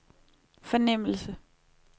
fornemmelse